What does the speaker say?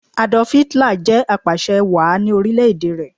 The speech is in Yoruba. Adolf Hitler jẹ̀ apàsẹ wàá ni orílẹ̀ èdè rẹ̀